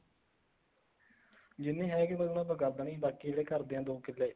ਜਿੰਨੀ ਹੈਗੀ ਉੰਨੀ ਪਰ ਕਰ ਦੇਣੀ ਬਾਕੀ ਜਿਹੜੇ ਘਰ ਦੇ ਆ ਦੋ ਕਿੱਲੇ